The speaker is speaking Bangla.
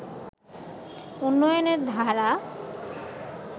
উন্নয়নের ধারা